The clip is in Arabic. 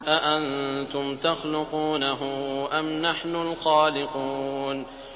أَأَنتُمْ تَخْلُقُونَهُ أَمْ نَحْنُ الْخَالِقُونَ